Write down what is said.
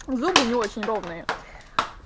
зубы не очень ровные